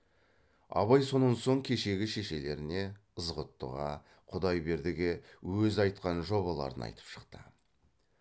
абай сонан соң кешегі шешелеріне ызғұттыға құдайбердіге өзі айтқан жобаларын айтып шықты